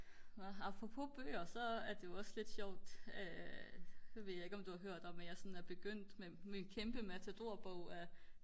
apropos bøger men så er det jo også lidt sjovt nu ved jeg ikke om du har hørt om at jeg er begyndt med kæmpe matadorbog af